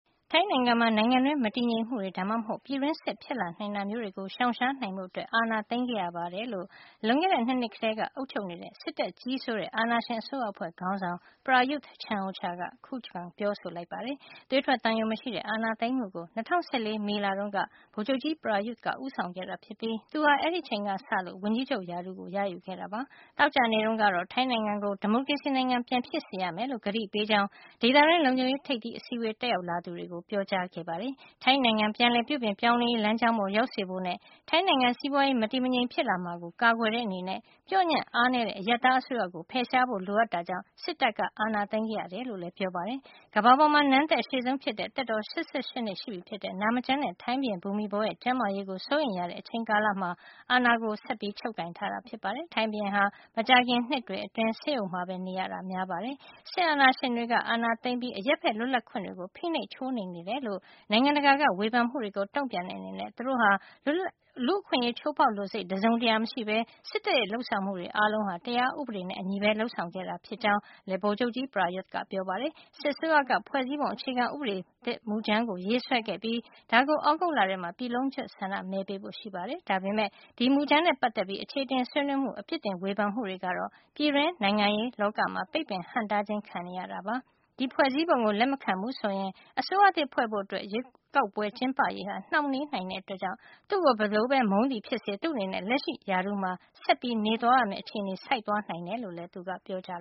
ထိုင်းနိုင်ငံမှာ နိုင်ငံတွင်း မတည်ငြိမ်မှုတွေ ဒါမှမဟုတ် ပြည်တွင်းစစ်ဖြစ် လာနိုင်တာမျိုးတွေ ကို ရှောင်ရှားနိုင်ဖို့ အာဏာကို ချုပ်ကိုင်ခဲ့ရတယ်လို့ လွန်ခဲ့တဲ့ ၂ နှစ် ကတည်းက အုပ်ချုပ်နေတဲ့ စစ်တပ်ကြီးစိုးတဲ့ အာဏာရှင်အ စိုးရအဖွဲ့ ခေါင်းဆောင် Prayuth Chan-ocha က ခုခံပြောဆိုခဲ့ပါတယ်။ သွေးထွက်သံယို မရှိတဲ့ အာဏာသိမ်းမှုကို ၂၀၁၄ မေလ တုန်းက ဗိုလ်ချုပ်ကြီး Prayuth ဦးဆောင်ခဲ့တာ ဖြစ်ပြီး သူဟာ အဲဒီအချိန်ကစလို့ ဝန်ကြီးချုပ်ရာထူးကို ရယူခဲ့တာပါ။ သောကြာနေ့တုန်းကတော့ ထိုင်းနိုင်ငံကို ဒီမိုကရေစီနိုင်ငံ ပြန်ဖြစ်စေရ မယ်လို့ ကတိပေးကြောင်း ဒေသတွင်း လုံခြုံရေးထိပ်သီးအစည်းဝေး တက်ရောက်လာသူတွေကို ပြောကြားခဲ့ပါတယ်။ ထိုင်းနိုင်ငံ ပြန်လည်ပြုပြင် ပြောင်းလဲရေးလမ်းကြောင်းပေါ် ရောက်စေဖို့နဲ့ ထိုင်းနိုင်ငံ စီးပွါးရေး မတည်မငြိမ်ဖြစ်လာမှာကို ကာကွယ်တဲ့အနေနဲ့ ပျော့ညံ့အားနည်းတဲ့ အရပ်သား အစိုးရကို ဖယ်ရှားဖို့ လိုအပ်ခဲ့တာကြောင့် စစ်တပ်က အာဏာသိမ်းခဲ့ရတယ်လို့ လည်း ပြောပါတယ်။ ကမ္ဘာပေါ်မှာ နန်းသက် အရှည်ဆုံး ဖြစ်တဲ့ သက်တော် ၈၈ နှစ် ရှိပြီဖြစ်တဲ့ နာမကျန်းတဲ့ ထိုင်းဘုရင် ဘူမိဘော ရဲ့ ကျန်းမာရေးကို စိုးရိမ်ရတဲ့ အချိန်ကာလမှာ အာဏာကို ဆက်ချုပ်ကိုင်ထားတာ ဖြစ်ပါတယ်။ ထိုင်းဘုရင်ဟာ မကြာခင်နှစ်တွေအတွင်း ဆေးရုံမှာပဲ နေရတာ များပါတယ်။ စစ်အာဏာရှင်တွေက အာဏာသိမ်းပြီး အရပ်ဖက် လွတ်လပ်ခွင့်တွေ ဖိနှိပ်ချိုးနှိမ်နေတယ်လို့ နိုင်ငံတကာက ဝေဖန်မှုတွေကို တုန့်ပြန်တဲ့ အနေနဲ့ သူတို့ဟာ လူ့အခွင့်ရေး ချိုးဖေါက်လိုစိတ် တစုံတရာ မရှိပဲ စစ်တပ်ရဲ့ လုပ်ဆောင်မှုတွေ အားလုံးဟာ တရားဥပဒေနဲ့ အညီပဲ လုပ်ဆောင်ခဲ့တယ်လို့ လည်း ဗိုလ်ချုပ်ကြီး ပရာရွသ် ကပြောပါတယ်။ စစ်အစိုးရကဖွဲ့စည်းပုံ အခြေခံ ဥပဒေသစ်မူကြမ်းကို ရေးဆွဲခဲ့ပြီး ဒါကို သြဂုတ်လမှာ ပြည်လုံးကွှတ်ဆန္ဒ မဲပေးဖို့ ရှိပါတယ်။ ဒါပေမယ့် ဒီမူကြမ်းနဲ့ ပါတ်သက်ပြီး အခြေအတင် ဆွေးနွေးမှုတွေ အပြစ်တင် ဝေဖန်မှုတွေ ကတော့ ပြည်တွင်း နိုင်ငံရေး လောကမှာ ပိတ်ပင်ဟန့်တားခြင်း ခံနေရပါတယ်။ ဒီဖွဲ့စည်းပုံကို လက်မခံဘူးဆိုရင် အစိုးရသစ်ဖွဲ့ဖို့ ရွေးကောက်ပွဲ ကျင်းပရေး ဟာနှောင့်နှေးနိုင်တဲ့ အတွက်ေကြောင့် သူ့ကို ဘယ်လိုပဲ မုန်းသည်ဖြစ်စေ သူ့အနေနဲ့ လက်ရှိရာထူးမှာ သူဆက်လက် နေသွားရမယ့် အခြေနေကို ဆိုက်နိုင်တယ်လို့ လည်း သူက ပြောကြား